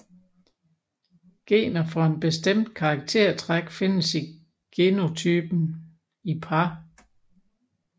Gener for et bestemt karaktertræk findes i genotypen i par